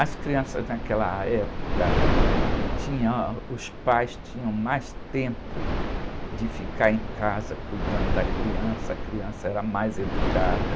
As crianças naquela época, ãh, tinha, os pais tinham mais tempo de ficar em casa cuidando da criança, a criança era mais educada.